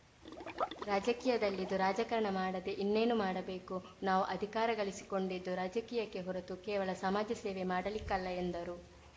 ರಾಜಕೀಯದಲ್ಲಿದ್ದು ರಾಜಕಾರಣ ಮಾಡದೆ ಇನ್ನೇನು ಮಾಡಬೇಕು ನಾವು ಅಧಿಕಾರ ಗಳಿಸಿಕೊಂಡಿದ್ದು ರಾಜಕೀಯಕ್ಕೆ ಹೊರತು ಕೇವಲ ಸಮಾಜಸೇವೆ ಮಾಡಲಿಕ್ಕಲ್ಲ ಎಂದರು